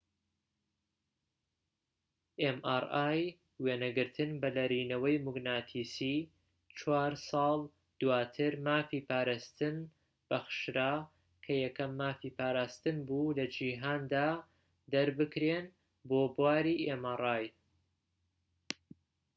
چوارساڵ دواتر مافی پاراستن بەخشرا، کە یەکەم مافی پاراستن بوو لە جیهاندا دەربکرێن بۆ بواری mri [وێنەگرتن بە لەرینەوەی موگناتیسی]